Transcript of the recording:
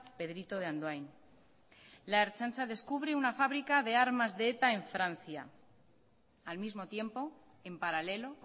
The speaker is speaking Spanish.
pedrito de andoain la ertzaintza descubre una fábrica de armas de eta en francia al mismo tiempo en paralelo